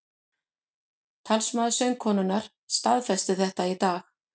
Talsmaður söngkonunnar staðfesti þetta í dag